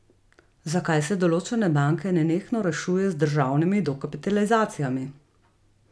Zakaj se določene banke nenehno rešuje z državnimi dokapitalizacijami?